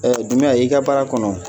Ɛ dumbiya i ka baara kɔnɔ